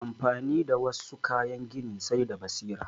Amfani da wassu kayan gini sai da basira